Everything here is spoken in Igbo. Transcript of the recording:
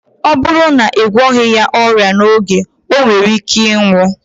Ọ bụrụ na ị gwọghị ya ọrịa n'oge, o nwere ike ịnwụ